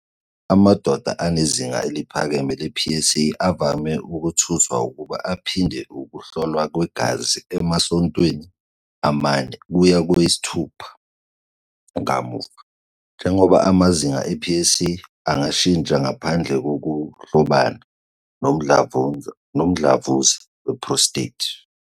Amadoda anezinga eliphakeme le-PSA avame ukutuswa ukuba aphinde ukuhlolwa kwegazi emasontweni amane kuya kwayisithupha kamuva, njengoba amazinga e-PSA engashintsha ngaphandle kokuhlobana nomdlavuza we-prostate.